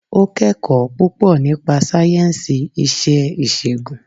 Ó kẹ́kọ̀ọ́ púpọ̀ nípa sáyẹ̀nsì iṣẹ́ ìṣègùn